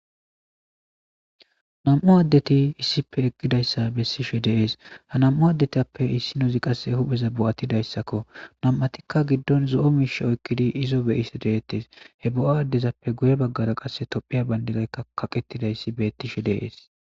nam7u addeti issipe eqkidayssa bessishe deees ha nam7u addetappe issi nozi qasse hupheza bo7atidayssakko nam7atikka giddon zo7o miishe oykkidi izo beyisi deettes he bo7o addezappe guye baggara qasse tophiya bandinaykka kaqettidayssi bettishe deees